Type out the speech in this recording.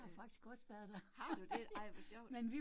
Øh, har du det, ej hvor sjovt